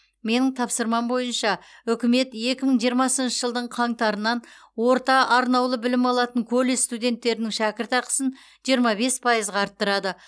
менің тапсырмам бойынша үкімет екі мың жиырмасыншы жылдың қаңтарынан орта арнаулы білім алатын колледж студенттерінің шәкіртақысын жиырма бес пайызға арттырады